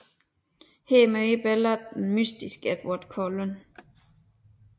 Her møder Bella den mystiske Edward Cullen